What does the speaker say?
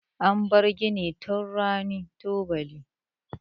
An bar gini tun ran tubani.